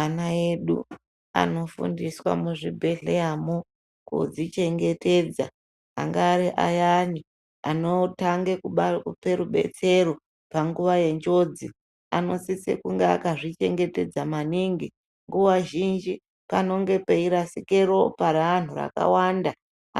Ana edu anofundiswa muzvibhedhleramo kudzichenhetedza anga ariayani anotanga kupe rubetsero panguwa yenjodzi anosisa kungaakazvichengetedza maningi nguwa zhinji panonge peirasike ropa reanhubrakawanda